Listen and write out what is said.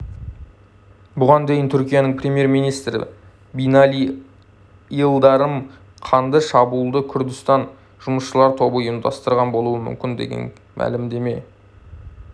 бұған дейін түркияның премьер-министрі бинали йылдырым қанды шабуылды күрдістан жұмысшылар тобы ұйымдастырған болуы мүмкін деген мәлімдеме